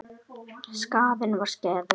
Skaðinn var skeður.